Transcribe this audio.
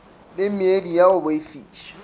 le meedi ya go boifiša